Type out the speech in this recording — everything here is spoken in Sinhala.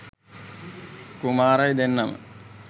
කුමාරයි දෙන්නම